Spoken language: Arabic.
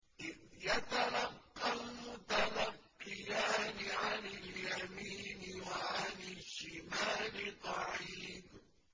إِذْ يَتَلَقَّى الْمُتَلَقِّيَانِ عَنِ الْيَمِينِ وَعَنِ الشِّمَالِ قَعِيدٌ